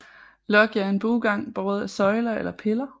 Loggia er en buegang båret af søjler eller piller